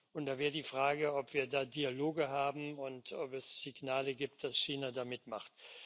Und da wäre die Frage, ob wir da Dialoge haben und ob es Signale gibt, dass China da mitmacht.